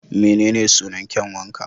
Menene sunan kyanwa ka?